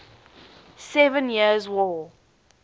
seven years war